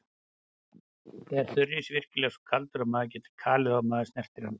Er þurrís virkilega svo kaldur að mann getur kalið ef maður snertir hann?